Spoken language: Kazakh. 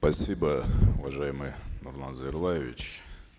спасибо уважаемый нурлан зайроллаевич